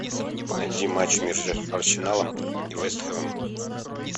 найди матч между арсеналом и вест хэмом